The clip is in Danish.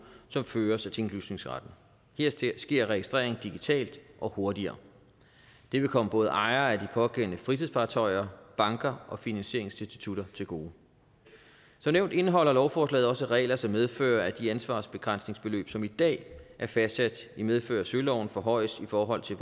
som føres af tinglysningsretten her sker registreringen digitalt og hurtigere det vil komme både ejere af de pågældende fritidsfartøjer banker og finansieringsinstitutter til gode som nævnt indeholder lovforslaget også regler som medfører at de ansvarsbegrænsningsbeløb som i dag er fastsat i medfør af søloven forhøjes i forhold til